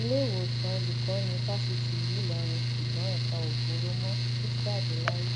iléewòsàn olùkọni fásitì ìlú ìlọrin ṣùgbọn ẹpa ò bóró mọ o ti jáde láyé